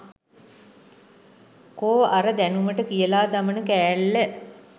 කෝ අර දැනුමට කියලා දමන කෑල්ල